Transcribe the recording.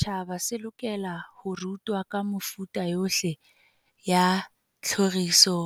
se re setjhaba se lokela ho rutwa ka mefuta yohle ya tlhoriso